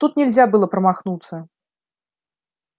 тут нельзя было промахнуться